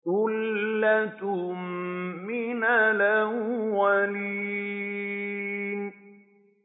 ثُلَّةٌ مِّنَ الْأَوَّلِينَ